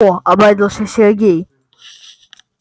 о обрадовался сергей